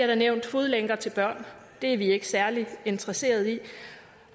der nævnt fodlænker til børn det er vi ikke særlig interesseret i